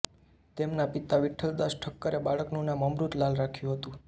તેમના પિતા વિઠ્ઠલદાસ ઠક્કરે બાળકનું નામ અમૃત લાલ રાખ્યું હતું